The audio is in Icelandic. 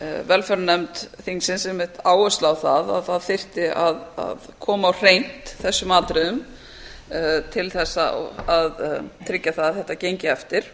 velferðarnefnd þingsins einmitt áherslu á að það þyrfti að koma á hreint þessum atriðum til þess að tryggja að þetta gengi eftir